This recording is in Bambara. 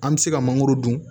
An bɛ se ka mangoro dun